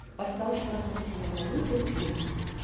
бастауыш класс оқушыларына өте қиын